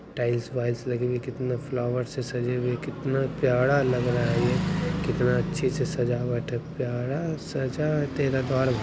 tiles वाइल्स लगी हुई कितना फ्लावर से सजे हुई कितना प्यारा लग रहा है ये कितना अच्छे से सजावट प्यारा सजा है तेरा द्वार भ --